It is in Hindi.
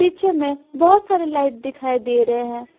पीछे में बहुत सारे लाइट दिखाई दे रहे हैं।